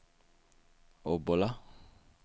Obbola